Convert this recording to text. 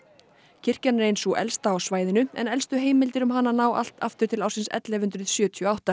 kirkjan er ein sú elsta á svæðinu en elstu heimildir um hana ná allt aftur til ársins ellefu hundruð sjötíu og átta